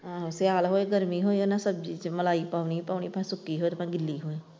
ਆਹੋ ਸਿਆਲ ਹੋਏ ਗਰਮੀ ਹੋੇਏ ਇਹ ਨਾ ਸਬਜੀ ਚ ਮਲਾਈ ਪਾਉਣੀ ਹੀ ਪਾਉਣੀ ਚਾਹੇ ਸੁੱਕੀ ਹੋਵੇ ਚਾਹੇ ਗਿੱਲੀ ਹੋਵੇ।